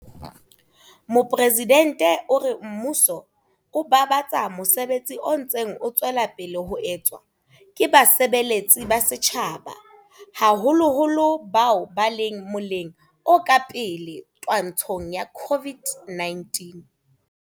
Mopresidente o re mmuso o babatsa mosebetsi o ntseng o tswela pele ho etswa ke basebeletsi ba setjhaba, haholoholo bao ba leng moleng o ka pele twantshong ya COVID-19.